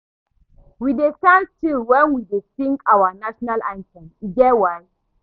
We dey stand still wen we dey sing our national anthem, e get why.